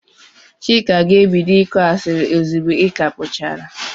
Chika ga-ebido ịkụ asiri ozigbo i ka puchara.